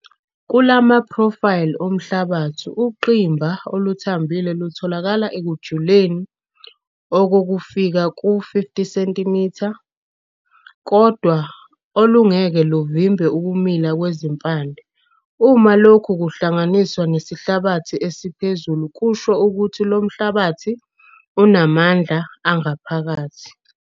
Kula maphrofayili omhlabathi ungqimba oluthambile lutholakala ekujuleni okufika ku-50 cm, kodwa alungeke luvimbe ukumila kwezimpande. Uma lokhu kuhlanganiswa nesihlabathi esiphezulu kusho ukuthi lo mhlabathi unamandla angaphakathi.